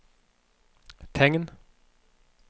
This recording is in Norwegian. tegn